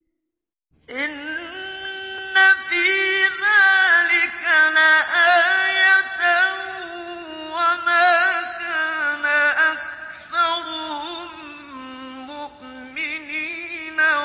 إِنَّ فِي ذَٰلِكَ لَآيَةً ۖ وَمَا كَانَ أَكْثَرُهُم مُّؤْمِنِينَ